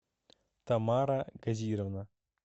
тамара казировна